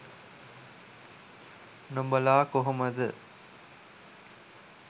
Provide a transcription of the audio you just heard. නොබලා කොහොමද.